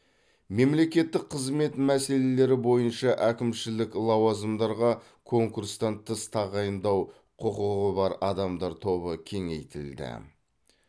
мемлекеттік қызмет мәселелері бойынша әкімшілік лауазымдарға конкурстан тыс тағайындау құқығы бар адамдар тобы кеңейтілді